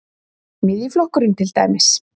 Miðjuflokkurinn til dæmis?